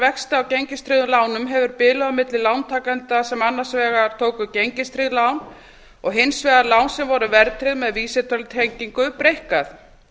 vexti af gengistryggðum lánum hefur bilið á milli lántakenda sem annars vegar tóku gengistryggð lán og hins vegar lán sem voru verðtryggð með vísitölutengingu breikkað